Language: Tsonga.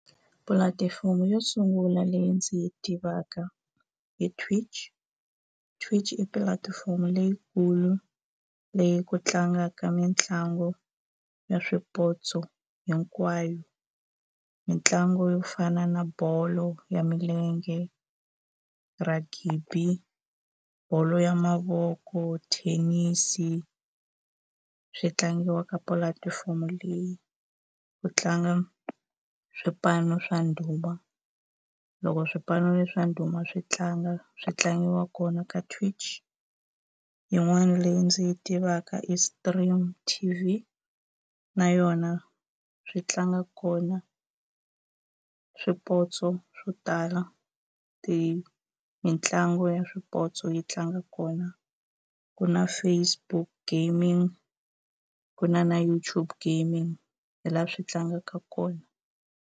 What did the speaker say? Pulatifomo yo sungula leyi ndzi yi tivaka hi Twitch, Twitch i pulatifomo leyikulu leyi ku tlangaka mitlangu ya swipotso hinkwayo mitlangu yo fana na bolo ya milenge ragibi bolo ya mavoko thenisi swi tlangiwa ka pulatifomo leyi ku tlanga swipano swa ndhuma loko swipano leswa ndhuma swi tlanga swi tlangiwa kona ka Twitch yin'wana leyi ndzi yi tivaka i Stream T_V na yona swi tlanga kona swipotso swo tala mitlangu ya swipotso yi tlanga kona ku na Facebook gaming ku na na YouTube gaming hi laha swi tlangaka kona.